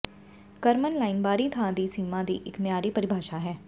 ਕਰਮਨ line ਬਾਹਰੀ ਥਾਂ ਦੀ ਸੀਮਾ ਦੀ ਇੱਕ ਮਿਆਰੀ ਪਰਿਭਾਸ਼ਾ ਹੈ